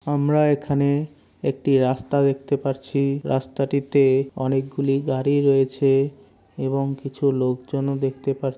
আমরা এখানে একটা রাস্তা দেখতে পাচ্ছি। রাস্তাটিতে অনেকগুলি গাড়ি রয়েছে। এবং কিছু লোক জনও দেখতে পা --